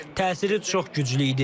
Təsiri çox güclü idi.